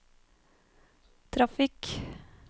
trafikk